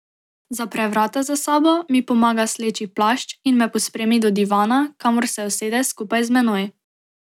Zapre vrata za sabo, mi pomaga sleči plašč in me pospremi do divana, kamor se usede skupaj z menoj.